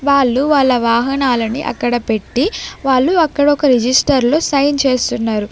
వాళ్లు వాళ్ళ వాహనాలని అక్కడ పెట్టి వాళ్ళు అక్కడ ఒక రిజిస్టర్ లో సైన్ చేస్తున్నారు.